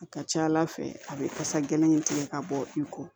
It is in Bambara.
A ka ca ala fɛ a bɛ kasa gɛlɛn in tigɛ ka bɔ i kɔ